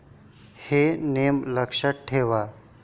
हे नियम लक्षात ठेवा.